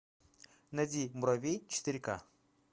найди муравей четыре ка